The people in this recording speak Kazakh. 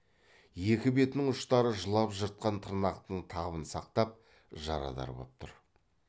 екі бетінің ұштары жылап жыртқан тырнақтың табын сақтап жарадар боп тұр